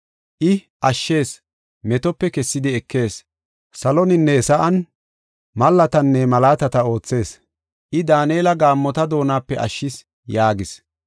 I, ashshees; metope kessidi ekees; Saloninne sa7an mallatanne malaatata oothees; I, Daanela gaammota doonape ashshis” yaagis.